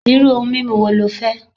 Iru oun mimu wo lẹ fẹ́?